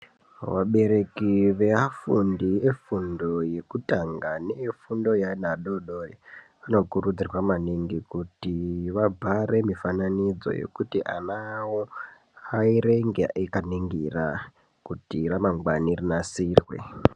Vabereki veafundi yekutamba nevefundo yefundo yeana adodori vanokurudzirwa kuti vabhare mifananidzo yekuti vava vavo vaerenge vakaningira kuti ramangwani rinasirwe